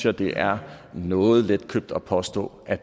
at det er noget letkøbt at påstå at